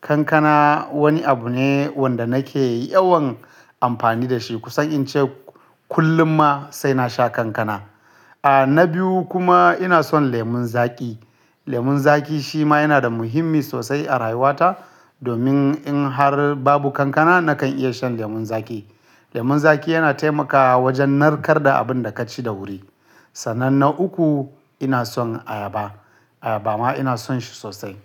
Kankana wani abu ne wanda nake yawan amfani da shi. Kusan in ce kullum ma sai na sha kankana. A, na biyu kuma ina son lemon zaƙi. Lemon zaƙi shi ma yana da muhimmi sosai a rayuwata. Domin in har babu kankana nakan iya shan lemon zaƙi. Lemon zaƙi yana taimakawa wajen narkar da abin da ka ci da wuri. Sannan na uku ina son ayaba. Ayaba ma ina son shi sosai.